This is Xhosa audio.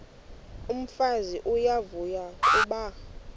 umfazi uyavuya kuba